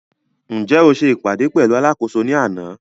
Ǹjẹ́ o se ìpàdé pẹ̀lú alákòóso ní àná?